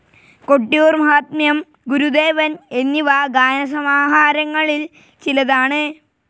കൊട്ടിയൂർ മാഹാത്മ്യം, ഗുരുദേവൻ എന്നിവ ഗാന സമാഹാരങ്ങളിൽ ചിലതാണ്.